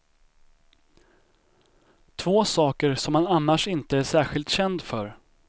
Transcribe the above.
Två saker som han annars inte är särskilt känd för.